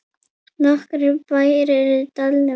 Nokkrir bæir eru í dalnum.